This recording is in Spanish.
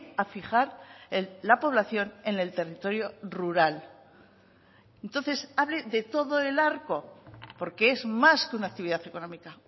a fijar la población en el territorio rural entonces hable de todo el arco porque es más que una actividad económica